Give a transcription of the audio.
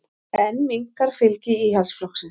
Enn minnkar fylgi Íhaldsflokksins